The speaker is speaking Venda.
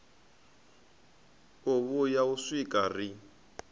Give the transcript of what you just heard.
u vhuya u swika ri